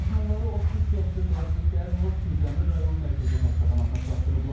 Yaxınları 33 yaşlı qadını dərhal Kürdəmir Rayon Mərkəzi Xəstəxanasına çatdırıblar.